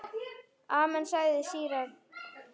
Amen, sagði síra Gísli.